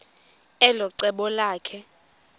elo cebo lakhe